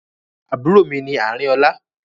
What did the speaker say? Àbúrò mi ní Àrinolá.